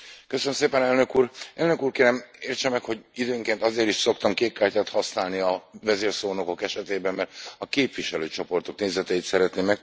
Elnök Úr, kérem, értse meg, hogy időnként azért is szoktam kékkártyát használni a vezérszónokok esetében, mert a képviselőcsoportok nézeteit szeretném megtudni.